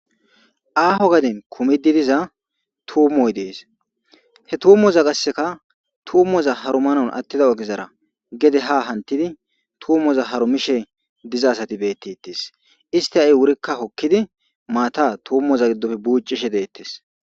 Aho gade kumidi diza tuumoy de'es he tumoza qaseka tumoza harumanaw atida ogezara gede ha hantifi tumoza harumishe diza asati betetes isti ha'i wuri hokidi maata tumoza gidoppe bucishe deetes.